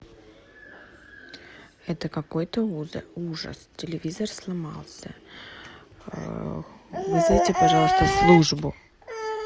это какой то ужас телевизор сломался вызовите пожалуйста службу